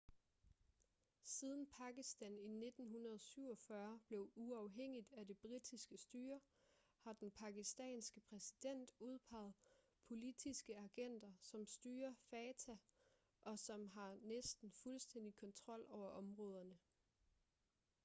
siden pakistan i 1947 blev uafhængigt af det britiske styre har den pakistanske præsident udpeget politiske agenter som styrer fata og som har næsten fuldstændig kontrol over områderne